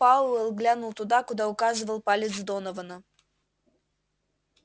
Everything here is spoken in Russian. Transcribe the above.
пауэлл глянул туда куда указывал палец донована